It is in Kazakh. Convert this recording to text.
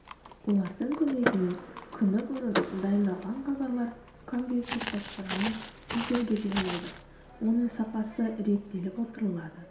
олардың көмегімен күні бұрын дайындалған хабарлар компьютер басқаруымен эфирге беріледі оның сапасы реттеліп отырылады